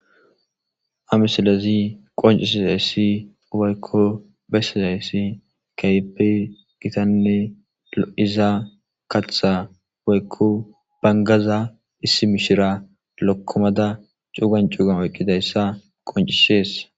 Ha misalezi qoncisizaysi waykko bessisayssi kayeppe gitanne izaa katha waykko bangaza issi mishira lokkomada cuugan cuugan oyqqidayssa qoncishees